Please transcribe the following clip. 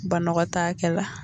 Banɔgɔtaakɛ la